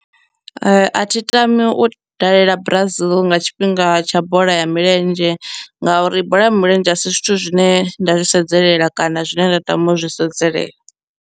A thi tami u dalela Brazil nga tshifhinga tsha bola ya milenzhe ngauri bola ya milenzhe a si zwithu zwine nda zwi sedzelela kana zwine nda tama u zwi sedzelela.